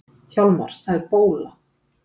Hjálmar, það er bóla!